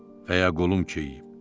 Və ya qolum keyiyib.